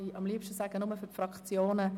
Das Wort ist offen für die Fraktionen.